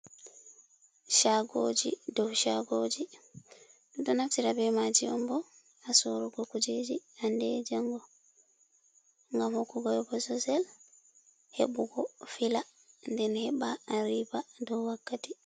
Shagoji, ɗo shagojigi ɗo naftira be maji ombo ha sorruugo kujeji handed e jango, gam hokugo bo ɓe bososel hebugo fila den heba a riba dow wakkati.